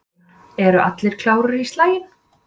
Eru allir klárir í slaginn?